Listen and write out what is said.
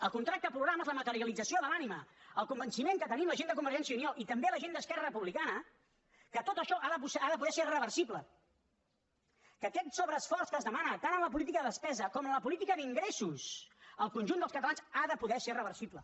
el contracte programa és la materialització de l’ànima el convenciment que tenim la gent de convergència i unió i també la gent d’esquerra republicana que tot això ha de poder ser reversible que aquest sobreesforç que es demana tant en la política de despesa com en la política d’ingressos al conjunt dels catalans ha de poder ser reversible